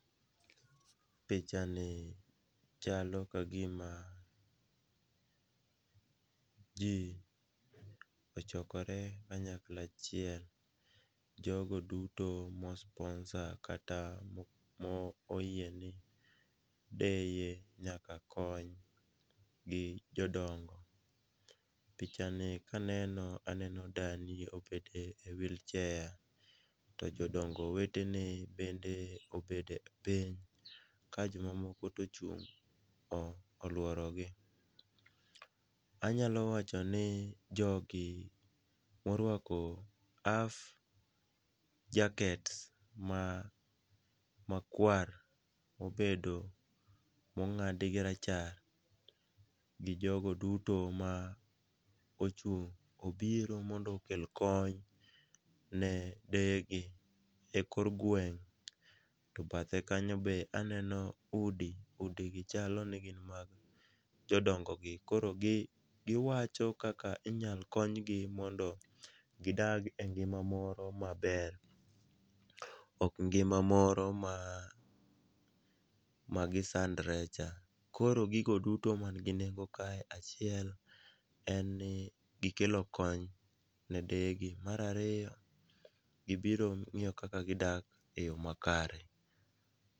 Pichani chalo ka gima ji ochokore kanyakla achiel, jogo duto mo sponsor kata oyiene deye nyaka kony, gi jodongo. Pichani kaneno, aneno dani oket e wheelchair to jodongo wetene bende obet piny, ka jomamoko to ochung' olworogi, anyalo wacho ni jogi morwako half jackets ma kwar mobedo ,mong'ad gi rachar gi jogo duto ma ochung' obiro mondo okel kony ne deyegi ekor gweng',to bathe kanyo be aneno udi, udigi chalo ni gin mag jodongogi. Koro giwacho kaka inyalo konygi mondo gidag e ngima moro maber ,ok ngima moro ma gisandore cha, koro gigo duto man gi nengo kae, achiel en ni gikelo kony ne deyegi, mar ariyo, gibiro ng'iyo kaka gidak e yo makare.